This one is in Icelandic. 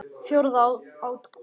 Fjórða útgáfa.